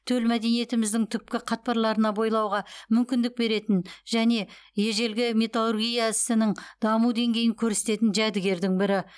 төл мәдениетіміздің түпкі қатпарларына бойлауға мүмкіндік беретін және ежелгі металлургия ісінің даму деңгейін көрсететін жәдігердің бірі